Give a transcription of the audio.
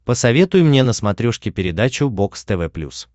посоветуй мне на смотрешке передачу бокс тв плюс